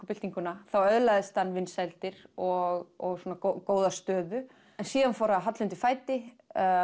byltinguna þá öðlaðist hann vinsældir og svona góða stöðu en síðan fór að halla undan fæti